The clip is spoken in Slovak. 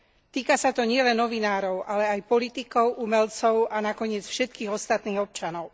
Týka sa to nielen novinárov, ale aj politikov, umelcov, a nakoniec všetkých ostatných občanov.